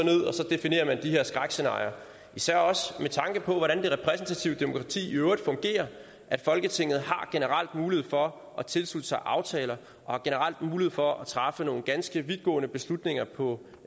definerer man de her skrækscenarier især også med tanke på hvordan det repræsentative demokrati i øvrigt fungerer folketinget har generelt mulighed for at tilslutte sig aftaler og har generelt mulighed for at træffe nogle ganske vidtgående beslutninger på